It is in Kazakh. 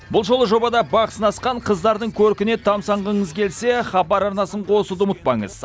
бұл жолы жобада бақ сынасқан қыздардың көркіне тамсанғыңыз келсе хабар арнасын қосуды ұмытпаңыз